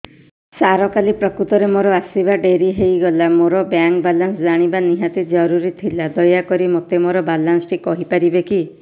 ସାର କାଲି ପ୍ରକୃତରେ ମୋର ଆସିବା ଡେରି ହେଇଗଲା ମୋର ବ୍ୟାଙ୍କ ବାଲାନ୍ସ ଜାଣିବା ନିହାତି ଜରୁରୀ ଥିଲା ଦୟାକରି ମୋତେ ମୋର ବାଲାନ୍ସ ଟି କହିପାରିବେକି